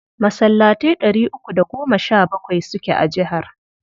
Masallatai ɗari uku da goma sha bakwai suke a jihar.